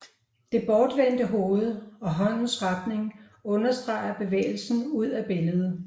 Det bortvendte hoved og håndens retning understreger bevægelsen ud af billedet